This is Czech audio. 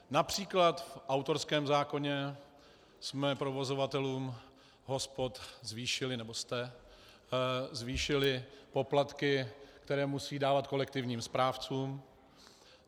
Například v autorském zákoně jsme provozovatelům hospod zvýšili - nebo jste zvýšili poplatky, které musí dávat kolektivním správcům.